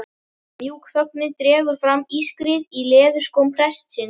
mjúk þögnin dregur fram ískrið í leðurskóm prestsins.